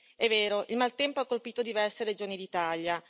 È vero, il maltempo ha colpito diverse regioni d'Italia.